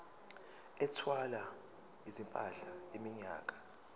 ethwala izimpahla iminyaka